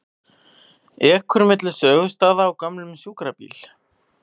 Ekur milli sögustaða á gömlum sjúkrabíl